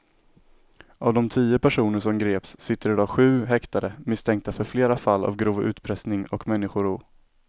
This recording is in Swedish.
Av de tio personer som greps sitter i dag sju häktade misstänkta för flera fall av grov utpressning och människorov.